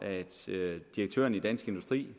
direktøren i dansk industri